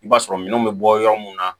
I b'a sɔrɔ minɛnw bɛ bɔ yɔrɔ mun na